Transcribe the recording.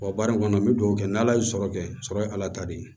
baara in kɔnɔ n bɛ dugawu kɛ n ala ye sɔrɔ kɛ sɔrɔ ye ala ta de ye